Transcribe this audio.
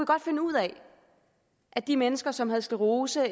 godt finde ud af at de mennesker som havde sklerose